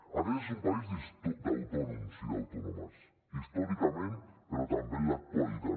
aquest és un país d’autònoms i d’autònomes històricament però també en l’actualitat